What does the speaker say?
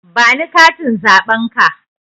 Ba ni katin zaɓen ka!